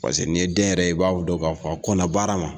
Parce que n'i ye den yɛrɛ, i b'a don k'a fɔ o kɔnna baara ma.